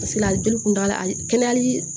a joli kun t'a la kɛnɛyali